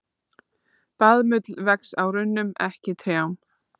Baðmull vex á runnum, ekki trjám.